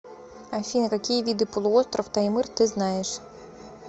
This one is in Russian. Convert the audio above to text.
афина какие виды полуостров таймыр ты знаешь